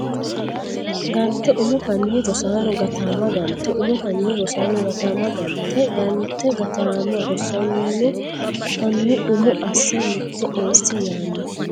Gante umo hanni Rosaano gataamma Gante umo hanni Rosaano gataamma Gante Gante gataamma Rosaano hanni umo asse mitte eessi yaanno !